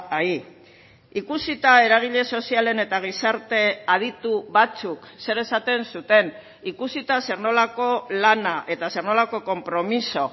ahí ikusita eragile sozialen eta gizarte aditu batzuk zer esaten zuten ikusita zer nolako lana eta zer nolako konpromiso